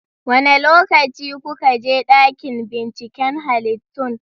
Wane lokaci kuka je dakin binciken halittun?